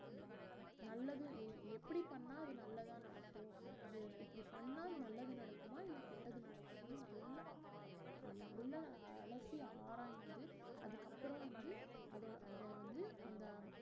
நல்லது எ~ எப்படி பண்ணா அது நல்லதா நடக்கும் இது இப்படி பண்ணா நல்லது நடக்குமா இல்ல கெட்டது நடக்குமான்னு நல்லா அ~ நல்லா அலசி ஆராய்ந்து அதுக்கப்புறம் வந்து அத அத வந்து அந்த